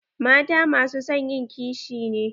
Mata masu son ƴin ƙishi ne.